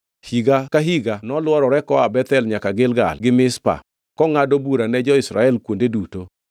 Higa ka higa nolworore koa Bethel nyaka Gilgal gi Mizpa kongʼado bura ne jo-Israel kuonde duto.